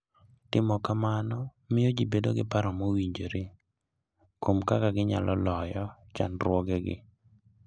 Timo kamano miyo ji bedo gi paro mowinjore kuom kaka ginyalo loyo chandruogegi.